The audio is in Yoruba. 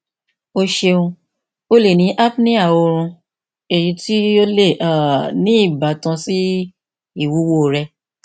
o ṣeun o le ni apnea oorun eyi ti o le um ni ibatan si iwuwo rẹ